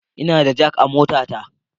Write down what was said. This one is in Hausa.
Ina da jak a motata